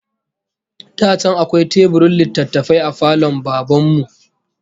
Da can akwai teburin littattafai a falon Baban mu